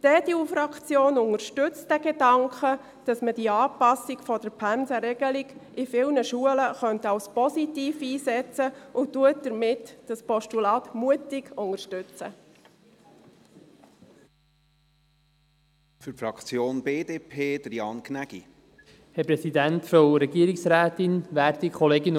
Die EDU-Fraktion unterstützt den Gedanken, dass man die Anpassung der Pensenregelung in vielen Schulen als positiv einsetzen könnte, und unterstützt dieses Postulat somit mutig.